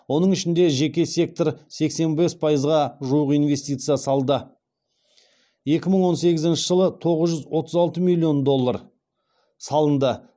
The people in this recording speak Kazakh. оның ішінде жеке сектор сексен бес паыйзға жуық инвестиция салды екі мың он сегізінші жылы тоғыз жүз отыз алты миллион доллар салынды